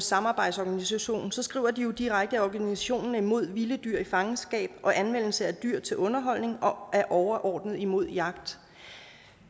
samarbejdsorganisation skriver de jo direkte at organisationen er imod vilde dyr i fangenskab og anvendelse af dyr til underholdning og at de overordnet er imod jagt